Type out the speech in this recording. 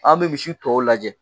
An bɛ misi tɔw lajɛ.